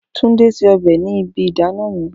Tunde se ọbẹ ni ibi idana mi